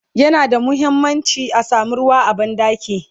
yana da muhimmanci a samu ruwa a banɗaki